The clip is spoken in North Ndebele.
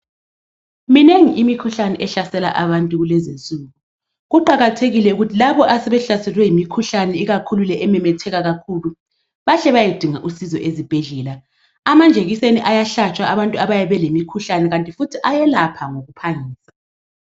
Minengi imikhuhlane ehlasela abantu kulezinsuku. Kuqakathekile ukuthi labo asebehlaselwe yimikhuhlane ikakhulu le ememetheka kakhulu bahle bayedinga usizo ezibhedlela. Amanjekiseni ayahlatshwa abantu abayabe belemikhuhlane kanti futhi ayelapha ngokuphangisa.